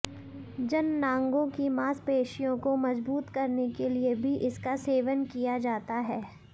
जननांगो की मांसपेशियों को मजबूत करने के लिए भी इसका सेवन किया जाता है